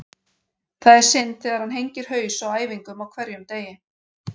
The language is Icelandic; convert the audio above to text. Það er synd þegar hann hengir haus á æfingum á hverjum degi.